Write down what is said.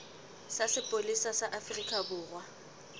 sa sepolesa sa afrika borwa